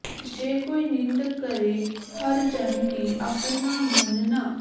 ਜੇ ਕੋਈ ਨਿੰਦ ਕਰੇ ਹਰਿ ਜਨ ਕੀ ਅਪੁਨਾ ਗੁਨੁ ਨ